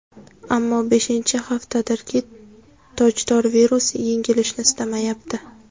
Ammo beshinchi haftadirki, tojdor virus yengilishni istamayapti.